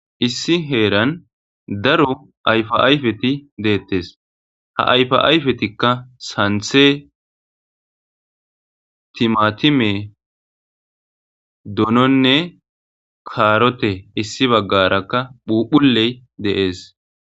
Issi heeran daro ayfa ayfeti deettes ha ayfa ayfetikka santhe timatime dononne kaarote issi baggarakka phuphuley deees